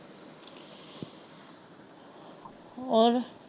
ਔਰ।